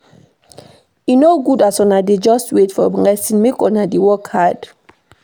E no good as una just wait for blessing, make una dey work hard.